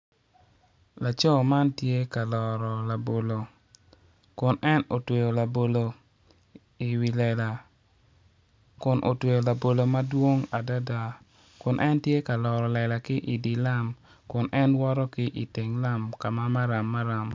Laco man tye ka loro labolo kono odongo mabeco adada pot anyogi man kono tye rangi ma alum alum anyogi miyo itwa cam i yo mapol maclo moko kun en woto ki i teng yo maram maram.